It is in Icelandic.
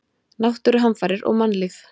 Náttúruhamfarir og mannlíf.